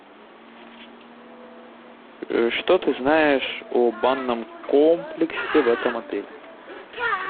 что ты знаешь о банном комплексе в этом отеле